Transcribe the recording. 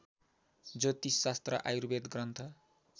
ज्योतिषशास्त्र Ayurveda Granth